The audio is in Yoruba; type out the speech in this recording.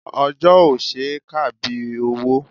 Ọjọ́ ò ṣe é kà bí owó.